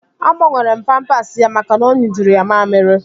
Agbanwere m pampasi ya maka na ọ nyụjuru ya mammiri